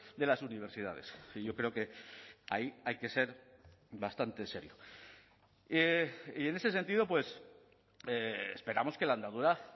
de las universidades y yo creo que ahí hay que ser bastante serio y en ese sentido esperamos que la andadura